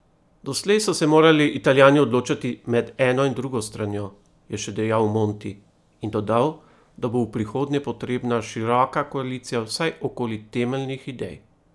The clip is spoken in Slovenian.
Doslej so se morali Italijani odločati med eno in drugo stranjo, je še dejal Monti in dodal, da bo v prihodnje potrebna široka koalicija vsaj okoli temeljnih idej.